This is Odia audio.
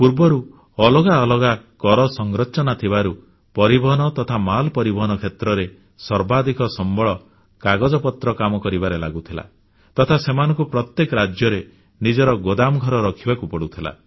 ପୂର୍ବରୁ ଅଲଗା ଅଲଗା କର ସଂରଚନା ଥିବାରୁ ପରିବହନ ତଥା ମାଲ ପରିବହନ କ୍ଷେତ୍ରରେ ସର୍ବାଧିକ ସମ୍ବଳ କାଗଜପତ୍ର କାମ କରିବାରେ ଲାଗୁଥିଲା ତଥା ସେମାନଙ୍କୁ ପ୍ରତ୍ୟେକ ରାଜ୍ୟରେ ନିଜର ଗୋଦାମଘର ରଖିବାକୁ ପଡ଼ୁଥିଲା